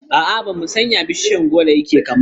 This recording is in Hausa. A'a, bamu san yadda bishiyar goro yake kama ba.